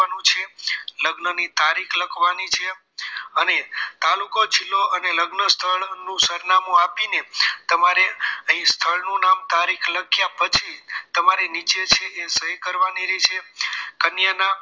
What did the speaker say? લગ્નની તારીખ લખવાની છે અને તાલુકો જીલ્લો અને લગ્ન સ્થળ નું સરનામું આપીને તમારે અહીં સ્થળનું નામ તારીખ લખ્યા પછી તમારે નીચે છે એ સહી કરવાની રહેશે કન્યા ના